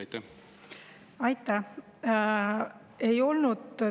Aitäh!